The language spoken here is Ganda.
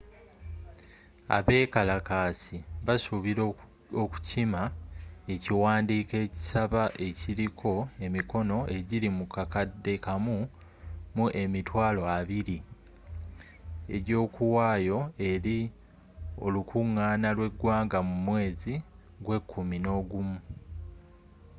abekalakasi basuubira okukima ekiwandiiko ekisaba ekiliko emikono ejili mu kakade kamu mu emitwalo abili egyokuwaayo eri olukungaana lw'egwanga mu mweezi gw'ekumi nogumu